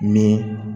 Ni